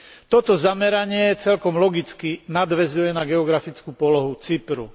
Toto zameranie celkom logicky nadväzuje na geografickú polohu Cypru.